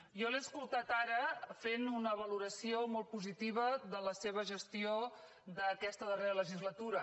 jo l’he escoltat ara fent una valoració molt positiva de la seva gestió d’aquesta darrera legislatura